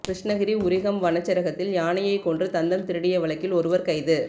கிருஷ்ணகிரி உரிகம் வனச்சரகத்தில் யானையை கொன்று தந்தம் திருடிய வழக்கில் ஒருவர் கைது